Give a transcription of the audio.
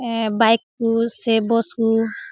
A bike --